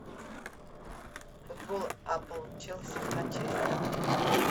футбол апл челси с манчестером